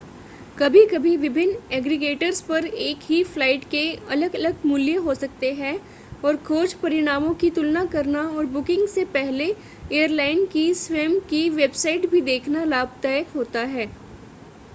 कभी-कभी विभिन्न एग्रीगेटर्स पर एक ही फ्लाइट के अलग-अलग मूल्य हो सकते हैं और खोज परिणामों की तुलना करना और बुकिंग से पहले एयरलाइन की स्वयं की वेबसाइट भी देखना लाभदायक होता है